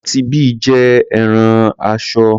Aunty Bee jẹ́ arán aṣọ.